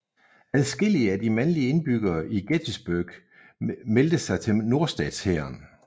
Adskillige af de mandlige indbyggere i Gettysburg meldte sig til nordstatshæren